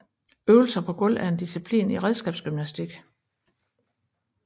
Øvelser på gulv er en disciplin i redskabsgymnastik